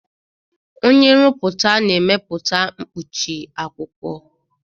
Onye nrụpụta na-emepụta mkpuchi akwụkwọ.